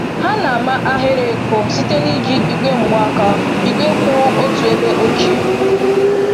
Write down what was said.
Ha na-ama ahịrị ịkụ site n’iji igwe mgbaaka igwe kwụ otu ebe ochie.